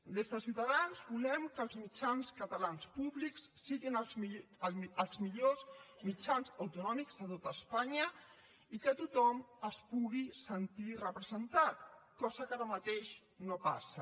des de ciutadans volem que els mitjans catalans públics siguin els millors mitjans autonòmics de tot espanya i que tothom s’hi pugui sentir representat cosa que ara mateix no passa